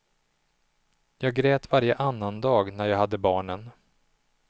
Jag grät varje annandag när jag hade barnen.